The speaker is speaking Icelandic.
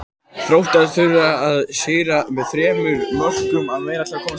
Þróttarar þurfa að sigra með þremur mörkum eða meira til að komast áfram.